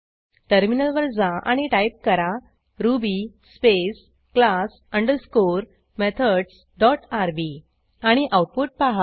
टर्मिनलवर जा आणि टाईप करा ruby space class underscore methods dot RB आणि आऊटपुट पहा